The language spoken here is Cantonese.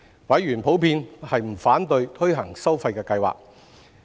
委員普遍不反對推行收費計劃。